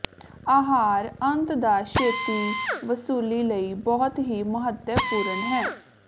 ਆਹਾਰ ਆੰਤ ਦਾ ਛੇਤੀ ਵਸੂਲੀ ਲਈ ਬਹੁਤ ਹੀ ਮਹੱਤਵਪੂਰਨ ਹੈ